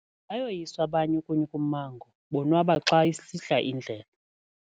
Bayoyiswa abanye ukunya ummango bonwaba xa isihla indlela.